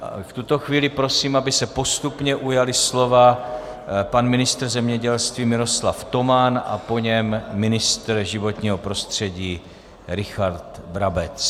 V tuto chvíli prosím, aby se postupně ujali slova pan ministr zemědělství Miroslav Toman a po něm ministr životního prostředí Richard Brabec.